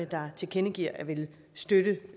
der tilkendegiver at ville støtte